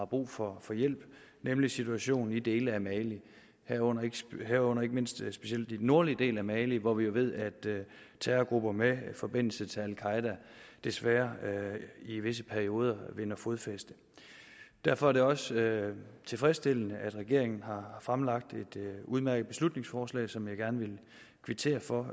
brug for hjælp nemlig situationen i dele af mali herunder herunder ikke mindst specielt i den nordlige del af mali hvor vi jo ved at terrorgrupper med forbindelse til al qaeda desværre i visse perioder vinder fodfæste derfor er det også tilfredsstillende at regeringen har fremlagt et udmærket beslutningsforslag som jeg gerne vil kvittere for